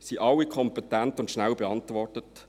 Sie wurden alle kompetent und schnell beantwortet.